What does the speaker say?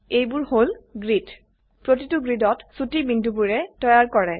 এইবোৰ হল গ্ৰিড প্ৰতিটো গ্ৰিডত ছোটি বিন্দুবোৰে ৰ তৈয়াৰ কৰে